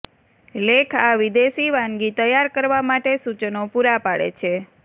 લેખ આ વિદેશી વાનગી તૈયાર કરવા માટે સૂચનો પૂરા પાડે છે